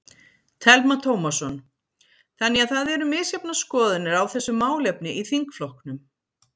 Telma Tómasson: Þannig að það eru misjafnar skoðanir á þessu málefni í þingflokknum?